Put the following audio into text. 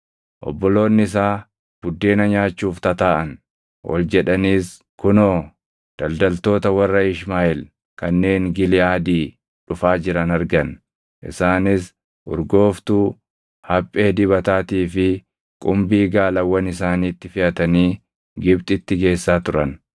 Obboloonni isaa buddeena nyaachuuf tataaʼan; ol jedhaniis kunoo, daldaltoota warra Ishmaaʼeel kanneen Giliʼaadii dhufaa jiran argan. Isaanis urgooftuu, haphee dibataatii fi qumbii gaalawwan isaaniitti feʼatanii Gibxitti geessaa turan.